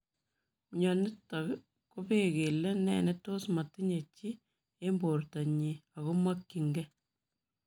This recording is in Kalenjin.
Mionitok kopee kelee nee netos matinye chii eng portoo nyi agomakchiin gei.